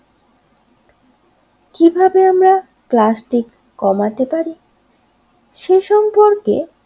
plastic কমাতে পারে সে সম্পর্কে